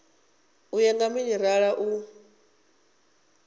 u ya nga minerala u